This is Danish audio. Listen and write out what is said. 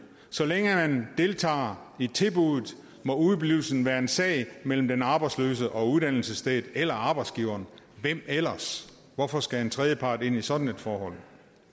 så længe man deltager i tilbuddet må udeblivelsen være en sag mellem den arbejdsløse og uddannelsesstedet eller arbejdsgiveren hvem ellers hvorfor skal en tredjepart ind i sådan et forhold